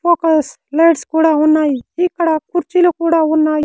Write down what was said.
Focus lights కూడా ఉన్నాయి ఇక్కడ కుర్చీలు కూడా ఉన్నాయి.